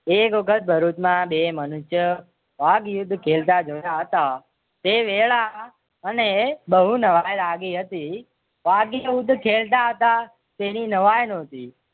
એક વલખત ભરૂચમાં બે મનુષ્ય ભાગ યુદ્ધ ખેલતા જોયા હતા તે વેળા અને બહુ નવાઈ લાગે હતી. ખેલતા હતા. તેની નવાઈ નોતી